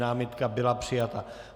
Námitka byla přijata.